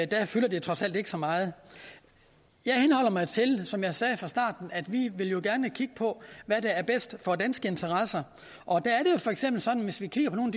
det der fylder det trods alt ikke så meget jeg henholder mig til som jeg sagde i starten at vi jo gerne vil kigge på hvad der er bedst for danske interesser og der er det for eksempel sådan hvis vi kigger på nogle